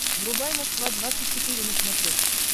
врубай москва двадцать четыре на смотрешке